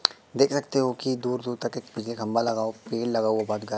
देख सकते हो कि दूर दूर तक एक पीला खंबा लगाओ पेड़ लगाओ बात क--